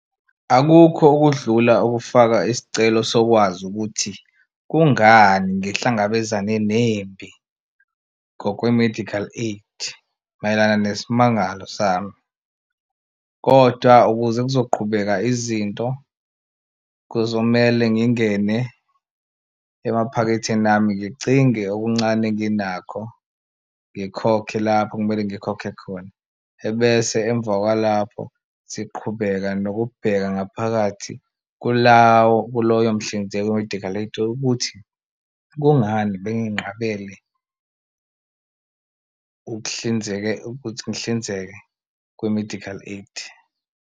Akukho okudlula ukufaka isicelo sokwazi ukuthi kungani ngihlangabezane nempi ngokwe-medical aid mayelana nesimangalo sami, kodwa ukuze kuzoqhubeka izinto kuzomele ngingene emaphaketheni ami ngicinge okuncane enginakho ngikhokhe lapho okumele ngikhokhe khona. Ebese emva kwalapho siqhubeka nokubheka ngaphakathi kulawo kuloyo mhlinzeki we-medical aid ukuthi kungani benginqabele ukuhlinzeka ukuthi ngihlinzeke kwi-medical aid.